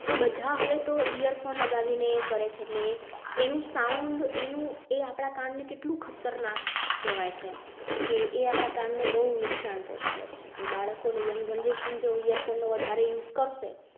બધા હવે તો ear phone લગાવી ને કરેં છે એટલે એનું sound કે એ આપણા કાન ને કેટલું ખતરનાક કહેવાય છે કે એ આપણા કાન ને બહુ નુકસાન પહોંચાડે છે કે બાળકો ને young generation જોઈએ. phone વધારે use કરશે